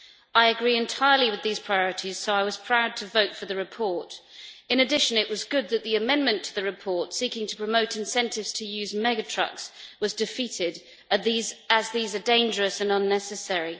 I agree entirely with these priorities so I was proud to vote for the report. In addition, it was good that the amendment to the report, seeking to promote incentives to use mega trucks, was defeated as these are dangerous and unnecessary.